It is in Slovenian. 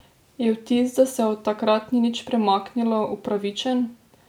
Je vtis, da se od takrat ni nič premaknilo, upravičen?